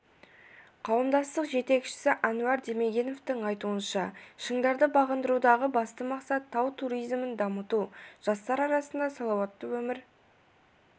қауымдастық жетекшісі әнуар демегеновтың айтуынша шыңдарды бағындырудағы басты мақсат тау туризмін дамыту жастар арасында салауатты өмір